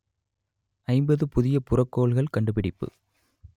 ஐம்பது புதிய புறக்கோள்கள் கண்டுபிடிப்பு